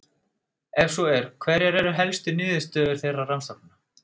Ef svo er, hverjar eru helstu niðurstöður þeirra rannsókna?